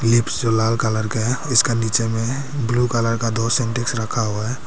लाल colour का है इसका नीचे में ब्लू कलर का दो सिंटेक्स रखा हुआ है।